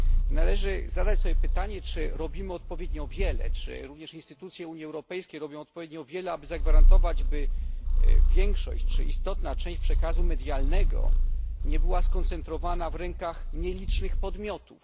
Należy zadać sobie pytanie czy robimy odpowiednio wiele i czy instytucje Unii Europejskiej robią odpowiednio wiele, aby zagwarantować, by większa część przekazu medialnego nie była skoncentrowana w rękach nielicznych podmiotów.